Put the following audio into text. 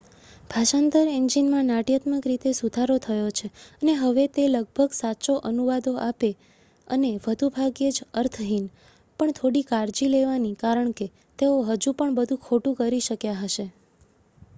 ભાષાંતર એન્જિનમાં નાટ્યાત્મક રીતે સુધારો થયો છે અને હવે તે લગભગ સાચા અનુવાદો આપે અને વધુ ભાગ્યે જ અર્થહીન પણ થોડી કાળજી લેવાની કારણ કે તેઓ હજુ પણ બધું ખોટું કરી શક્યા હશે